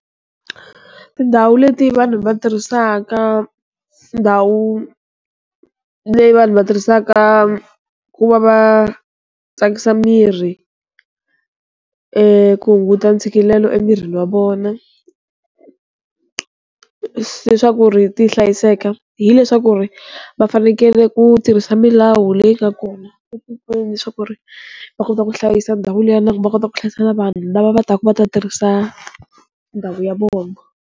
Tindhawu leti vanhu va tirhisaka ndhawu leyi vanhu va tirhisaka ku va va tsakisa miri ku hunguta ntshikelelo emirini wa vona leswaku ri ti hlayiseka, hileswaku ri va fanekele ku tirhisa milawu leyi nga kona etikweni leswaku ri va kota ku hlayisa ndhawu liya nakona va kota ku hlayisa na vanhu lava va taka va ta tirhisa ndhawu ya vona.